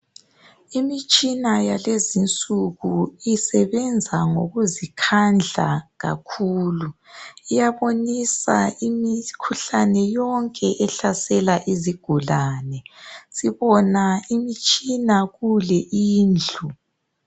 Imitshina yalezi insuku isebenza ngokuzikhandla kakhulu. Iyabonisa imikhuhlane yonke ehlasela izigulani. Sibona imitshina kule indlu.